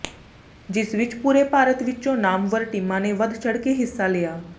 ਜਿਸ ਵਿੱਚ ਪੂਰੇ ਭਾਰਤ ਵਿੱਚੋਂ ਨਾਮਵਰ ਟੀਮਾਂ ਨੇ ਵੱਧ ਚੜ੍ਹਕੇ ਹਿੱਸਾ ਲਿਆ